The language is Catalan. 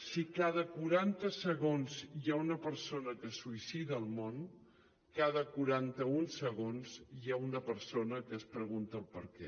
si cada quaranta segons hi ha una persona que es suïcida al món cada quaranta un segons hi ha una persona que es pregunta el perquè